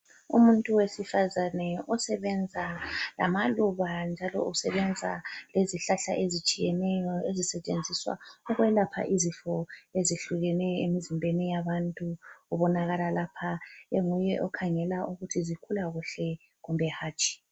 Umuntu wesifazane osebenza lamaluba njalo usebenza lezihlahla ezitshiyeneyo ezisetshenziswa ukwelapha izifo ezihlukeneyo emzimbeni yabantu. Ubonakala lapha enguye okhangela ukuthi zikhula kuhle kumbe hatshi.